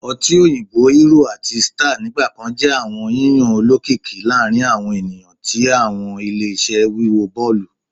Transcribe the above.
ọtí òyìnbó Hero àti Star nigbakan jẹ awọn yiyan olokiki laarin awọn eniyan ni awọn ile-iṣẹ wiwo bọọlu